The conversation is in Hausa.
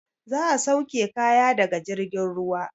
Za a sauke kaya daga jirgin ruwa.